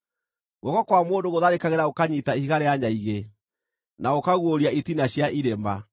Guoko kwa mũndũ gũtharĩkagĩra gũkanyiita ihiga rĩa nyaigĩ, na gũkaguũria itina cia irĩma.